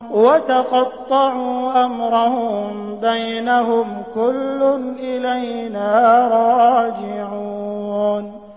وَتَقَطَّعُوا أَمْرَهُم بَيْنَهُمْ ۖ كُلٌّ إِلَيْنَا رَاجِعُونَ